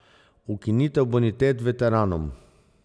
Ukinitev bonitet veteranov.